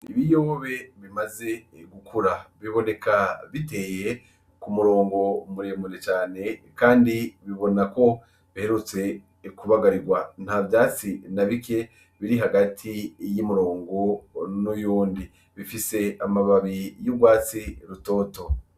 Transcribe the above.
Ibiyobe bimaze gukura, biboneka biteye kumurongo muremure cane, kandi bibona ko biherutse kubagarirwa ,ntavyatsi nabike biri hagati y'umurongo n'uyundi, bifise amababi urwatsi rutoto.